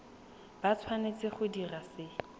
ba tshwanetse go dira se